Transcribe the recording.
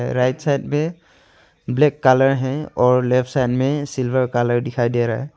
Right side में black colour हैं और लेफ्ट साइड में सिल्वर कलर दिखाई दे रहा है।